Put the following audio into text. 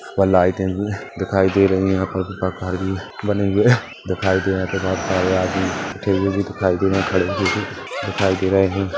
वहाँ लाइटे दिखाई दे रही है यहाँ पर दीपक आदि बने हुए है दिखाई दे रहे है तथा बोहोत सारे आदमी बैठे हुए दिखाई दे रहे खड़े हुए भी दिखाई दे रहे है।